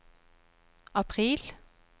april